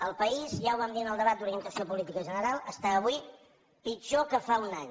el país ja ho vam dir en el debat d’orientació política general està avui pitjor que fa un any